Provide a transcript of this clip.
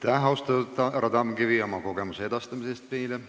Aitäh, austatud härra Tamkivi, meile oma kogemuse edastamise eest!